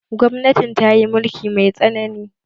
Gwamnatin ta yi mulki mai tsanani